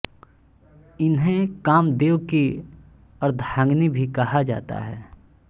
इन्हें कामदेव की अर्धांगिनी भी कहा जाता है